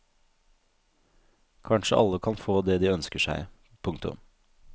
Kanskje alle kan få det de ønsker seg. punktum